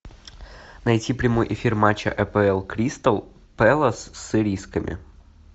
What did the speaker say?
найти прямой эфир матча апл кристал пэлас с ирисками